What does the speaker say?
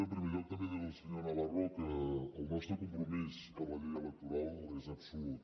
en primer lloc també dir li al senyor navarro que el nostre compromís per la llei electoral és absolut